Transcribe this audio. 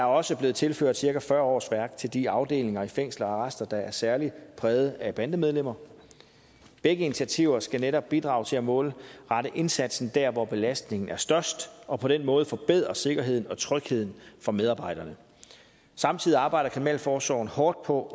også blevet tilført cirka fyrre årsværk til de afdelinger i fængsler og arrester der er særlig præget af bandemedlemmer begge initiativer skal netop bidrage til at målrette indsatsen der hvor belastningen er størst og på den måde forbedre sikkerheden og trygheden for medarbejderne samtidig arbejder kriminalforsorgen hårdt på